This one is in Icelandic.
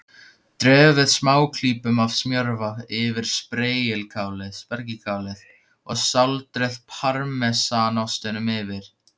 Dreifið smáklípum af smjörva yfir spergilkálið og sáldrið parmesanostinum yfir.